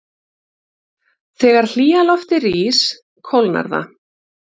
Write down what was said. Þegar hlýja loftið rís kólnar það.